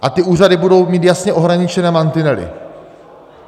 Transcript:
A ty úřady budou mít jasně ohraničené mantinely.